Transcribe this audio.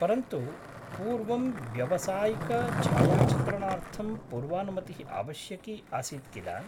परन्तु पूर्वं व्यावसायिकछायाचित्रणार्थं पूर्वानुमतिः आवश्यकी आसीत् किल?